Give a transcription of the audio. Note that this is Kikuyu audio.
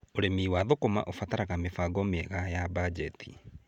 Ũrĩmi wa thũkũma ũbataraga mĩbango mĩega ya banjeti.